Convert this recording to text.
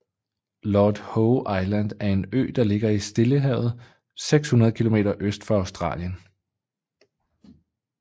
Lord Howe Island er en ø der ligger i Stillehavet 600 km øst for Australien